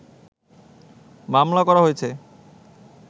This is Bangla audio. মামলা করা হয়েছে